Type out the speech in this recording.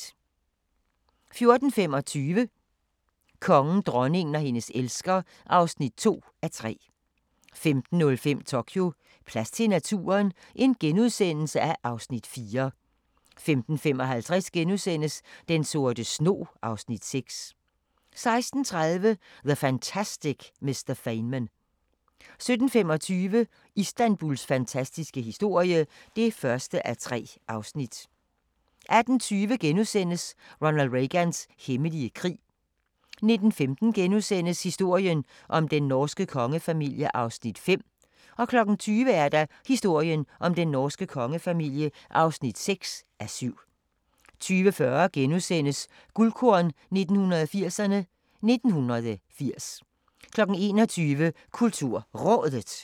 14:25: Kongen, dronningen og hendes elsker (2:3) 15:05: Tokyo: Plads til naturen? (Afs. 4)* 15:55: Den sorte snog (Afs. 6)* 16:30: The Fantastic Mr. Feynman 17:25: Istanbuls fantastiske historie (1:3) 18:20: Ronald Reagans hemmelige krig * 19:15: Historien om den norske kongefamilie (5:7)* 20:00: Historien om den norske kongefamilie (6:7) 20:40: Guldkorn 1980'erne: 1980 * 21:00: KulturRådet